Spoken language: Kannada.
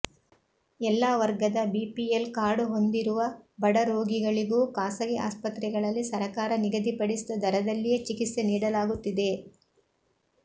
ಎಲ್ಲಾ ವರ್ಗದ ಬಿಪಿಎಲ್ ಕಾರ್ಡ್ ಹೊಂದಿರುವ ಬಡರೋಗಿಗಳಿಗೂ ಖಾಸಗಿ ಆಸ್ಪತ್ರೆಗಳಲ್ಲಿ ಸರಕಾರ ನಿಗದಿಪಡಿಸಿದ ದರದಲ್ಲಿಯೇ ಚಿಕಿತ್ಸೆ ನೀಡಲಾಗುತ್ತಿದೆ